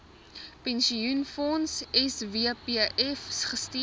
pensioenfonds swpf gestuur